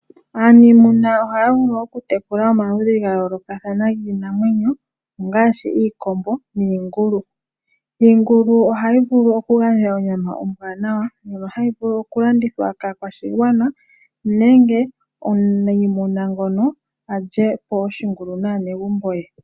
Aaniimuna ohaavulu okutekula omaludhi gayoolokathana giinamwenyo ongaashi: iikombo niingulu. Iingulu ohayi vulu okugandja onyama ombwaanawa ndjono hayi vulu okulandithwa kaakwashigwana nenge omunayimuna ngono alyepo oshingulu naanegumbo ye.